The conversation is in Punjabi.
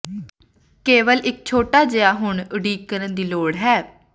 ਕੇਵਲ ਇੱਕ ਛੋਟਾ ਜਿਹਾ ਹੁਣ ਉਡੀਕ ਕਰਨ ਦੀ ਲੋੜ ਹੈ